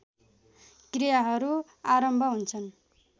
क्रियाहरू आरम्भ हुन्छन्